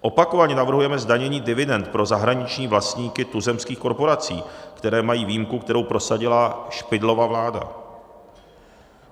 Opakovaně navrhujeme zdanění dividend pro zahraniční vlastníky tuzemských korporací, které mají výjimku, kterou prosadila Špidlova vláda.